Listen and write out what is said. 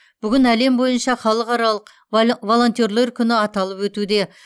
бүгін әлем бойынша халықаралық волонтерлер күні аталып өтуде